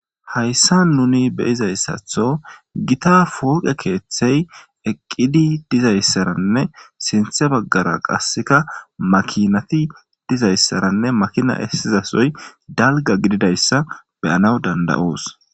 Hayssa nuni beyizayssatho gita pooqe keeththey eqqidi dizayssaranne sinthe baggara qasseka makinati dizayssaranne makina essizasoy dalga gididayssa beyanaw dandayoos.